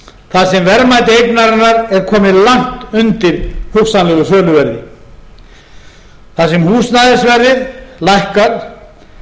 sem verðmæti eignarinnar er komið langt undir hugsanlegu söluverði þar sem húsnæðisverðið lækkar